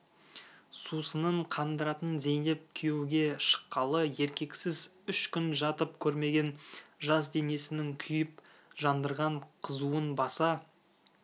сусынын қандыратын зейнеп күйеуге шыққалы еркексіз үш күн жатып көрмеген жас денесінің күйіп-жандырған қызуын баса